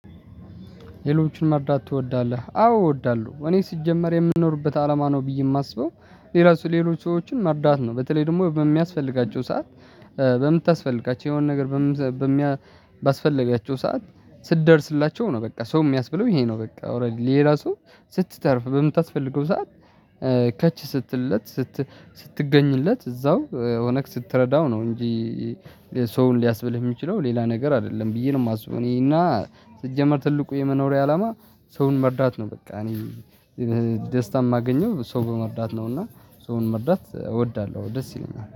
ሌሎችን መርዳት ትወዳለህ አዎ እወዳለሁ እኔ ስጀምር የምንኖርበት አላማ ነው ብዬ የማስበው። ሌላው ሌሎች ሰዎችን መርዳት ነው በተለይ ደግሞ በሚያስፈልጋቸው ሰዓት። በምታስፈልጋቸው የሆነ ነገር በሚያስፈልጋቸው ባስፈለጋቸው ሰዓት ስትደርስላቸው ነው። በቃ ሰው የሚያስብለው ይሄ ነው። በቃ ኦሬዲ ሌላ ሰው ስትተርፍ በምታስፈልገው ሰዓት ከች ስትልለት ስትገኝለት እዛው ሆነክ ስትረዳው ነው። እንጂ ሰውን ሊያስብልህ የሚችለው ሌላ ነገር አይደለም ብዬ ነው የማስበው። እኔና ሲጀመር ትልቁ የመኖሪያ አላማ ሰውን መርዳት ነው። በቃ እኔ ደስታ የማገኘው ሰው በመርዳት ነው። እና ሰውን መርዳት እወዳለሁ ደስ ይለኛል